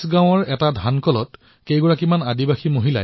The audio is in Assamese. জব্বলপুৰৰ চিচগাঁলত কিছুমান আদিবাসী মহিলাই এটা ধানৰ মিলত কাম কৰে